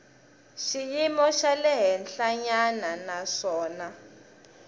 xiyimo xa le henhlanyana naswona